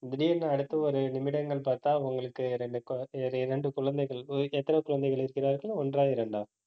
திடீர்னு அடுத்து ஒரு நிமிடங்கள் பார்த்தா உங்களுக்கு ரெண்டு குழ~ இரண்டு குழந்தைகள் எத்தனை குழந்தைகள் இருக்கிறார்கள் ஒன்றா, இரண்டா